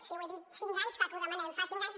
sí ho he dit cinc anys fa que ho demanem fa cinc anys